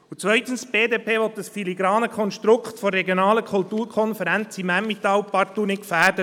Und zweitens will die BDP das filigrane Konstrukt der regionalen Kulturkonferenz im Emmental partout nicht gefährden.